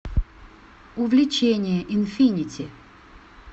увлечение инфинити